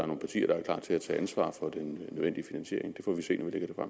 nogle partier der er klar til at tage ansvar for den nødvendige finansiering det får vi se